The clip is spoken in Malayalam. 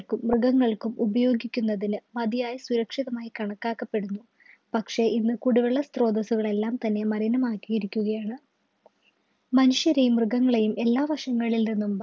മൃഗങ്ങൾക്കും ഉപയോഗിക്കുന്നതിന് മതിയായ സുരക്ഷിതമായി കണക്കാക്കപ്പെടുന്നു പക്ഷേ ഇന്ന് കുടിവെള്ളം സ്ത്രോതസുകൾ എല്ലാം തന്നെ മലിനമാക്കിയിരിക്കുകയാണ് മനുഷ്യരെയും മൃഗങ്ങളെയും എല്ലാ വശങ്ങളിൽ നിന്നും